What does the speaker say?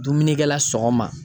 Dumunikɛ la sɔgɔma